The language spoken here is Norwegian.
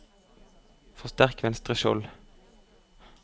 forsterk venstre skjold